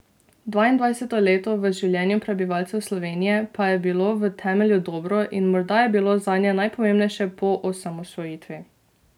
Dvaindvajseto leto v življenju prebivalcev Slovenije pa je bilo v temelju dobro in morda je bilo zanje najpomembnejše po osamosvojitvi.